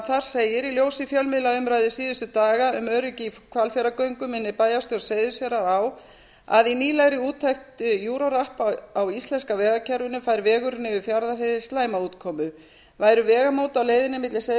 þar segir í ljósi fjölmiðlaumræðu síðustu daga um öryggi í hvalfjarðargöngum minnir bæjarstjórn seyðisfjarðar á að í nýlegri úttekt euro rap á íslenska vegakerfinu fær vegurinn yfir fjarðarheiði slæma útkomu væru vegamót á leiðinni milli seyðisfjarðar og